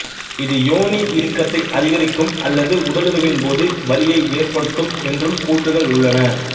இது யோனி இறுக்கத்தை அதிகரிக்கும் அல்லது உடலுறவின் போது வலியை ஏற்படுத்தும் என்றும் கூற்றுக்கள் உள்ளன